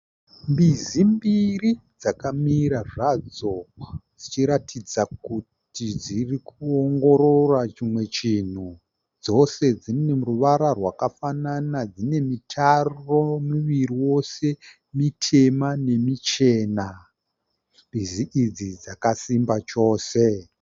Mbizi mbiri dzakamira zvadzo dzichiratidza kuti dzirikuongorora chimwe chinhu. Dzose dzine ruvara rwakafanana dzine mitaro miviri yose mitema nemichena. Mbizi idzi dzakasimba chose.